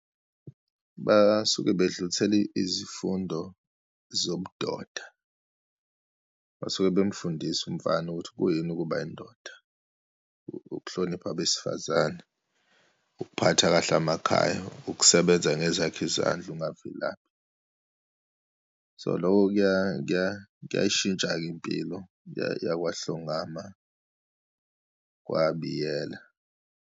Basuke bedlulisela izifundo zobudoda, basuke bemfundise umfana ukuthi kuyini ukuba yindoda, ukuhlonipha abesifazane, ukuphatha kahle amakhaya, ukusebenza ngezakhe izandla, ungavilaphi. So, loko kuya, kuya kuyayishintsha-ke impilo yakwaHlongama kwaBiyela.